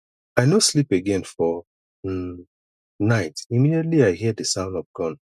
i no sleep again for um night immediately i hear di sound of gun